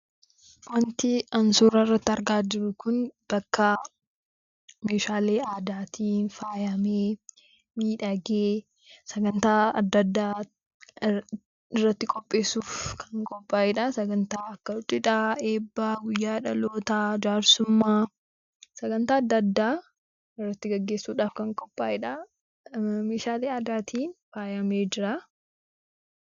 Wanti an suura irratti argaa jiru kun bakka meeshaalee aadaatiin faayamee sagantaa adda addaa irratti qopheessuuf qophaa'edha. Eebba, guyyaa dhalootaa, jaarsummaa irratti gaggeessuudhaaf kan qophaa'edha. Meeshaalee aadaatiin faayamee jira.